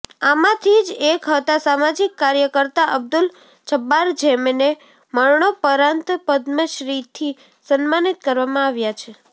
આમાંથી જ એક હતા સામાજિક કાર્યકર્તા અબ્દુલ જબ્બાર જેમને મરણોપરાંત પદ્મશ્રીથી સન્માનિત કરવામાં આવ્યા છે